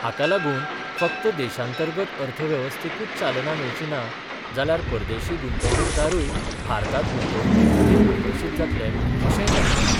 हाकालागून फक्त देशांतर्गत अर्थवेवस्थेकूच चालना मेळची ना जाल्यार परदेशी गुंतवणुकदारूय भारतात गुंतवणुकीखातीर आकर्षित जातले, अशेय ताणी म्हळे.